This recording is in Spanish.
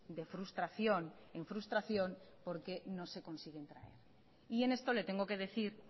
de frustración en frustración porque no se consiguen traer y en esto le tengo que decir